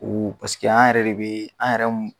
U an yɛrɛ de be an yɛrɛ m